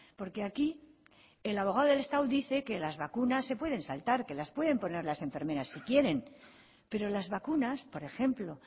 porque aquí el abogado del estado dice que las vacunas se pueden saltar que las pueden poner las enfermeras si quieren pero las vacunas por ejemplo